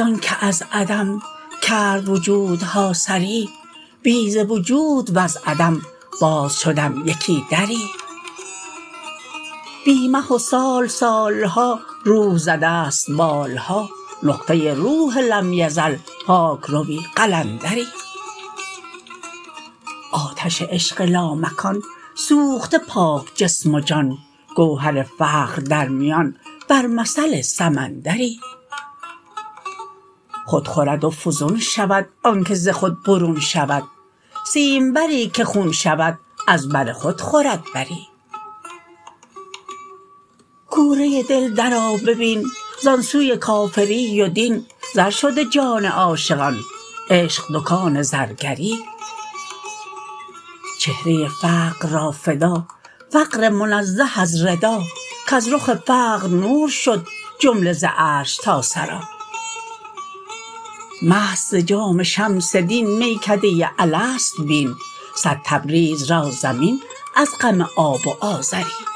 آنک از عدم کرد وجودها سری بی ز وجود وز عدم باز شدم یکی دری بی مه و سال سال ها روح زده ست بال ها نقطه روح لم یزل پاک روی قلندری آتش عشق لامکان سوخته پاک جسم و جان گوهر فقر در میان بر مثل سمندری خود خورد و فزون شود آنک ز خود برون شود سیمبری که خون شود از بر خود خورد بری کوره دل درآ ببین زان سوی کافری و دین زر شده جان عاشقان عشق دکان زرگری چهره فقر را فدا فقر منزه از ردا کز رخ فقر نور شد جمله ز عرش تا ثری مست ز جام شمس دین میکده الست بین صد تبریز را ضمین از غم آب و آذری